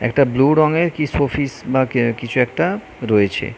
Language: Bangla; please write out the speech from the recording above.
একটা ব্লু রঙের কি শোফিস বা অ্যা কিছু একটা রয়েছে।